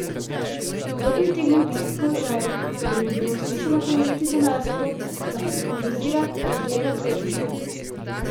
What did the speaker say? Kdo bi utegnil biti v položaju, da bi mu bilo smiselno ponuditi denar za to, da favorizira Patrijine oklepnike?